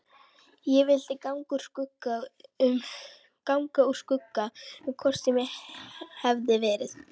Ég vildi ganga úr skugga um hvort svo hefði verið.